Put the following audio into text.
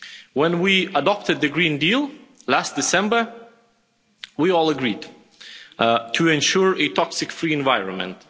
When we adopted the Green Deal last December we all agreed to ensure a toxic free environment.